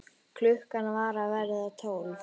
Klukkan var að verða tólf.